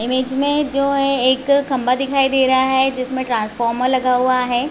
Image में जो है एक खंम्बा दिखाई दे रहा है जिसमें ट्रांसफार्मर लगा हुआ है।